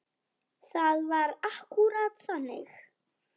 Það var akkúrat þannig.